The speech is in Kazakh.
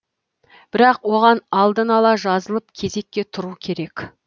бірақ оған алдын ала жазылып кезекке тұру керек